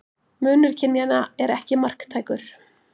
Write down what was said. Munur kynjanna er ekki marktækur.